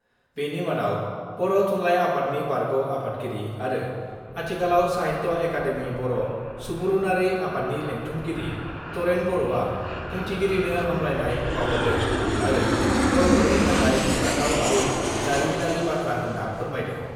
बेनि मादाव बर' थुनलाइ आफादनि बारग' आफादगिरि आरो आथिखालाव साहित्य एकाडेमि बर' सुबुरुनारि आफादनि लेंथुमगिरि तरेन बर'आ बुंथिगिरिनो हामब्लायनाय बाउहरदों आरो बर'फोरनि थाखाय गोग्गाथाव आरो जारिमिनारि बाथ्रा होन्ना फोरमायदों।